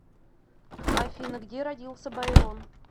афина где родился байрон